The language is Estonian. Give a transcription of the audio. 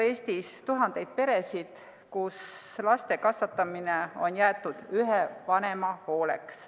Eestis on ju tuhandeid peresid, kus laste kasvatamine on jäetud ühe vanema hooleks.